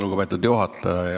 Lugupeetud juhataja!